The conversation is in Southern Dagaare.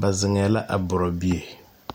ba zeŋɛɛ la a bora bie?